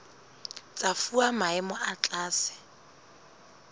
tsa fuwa maemo a tlase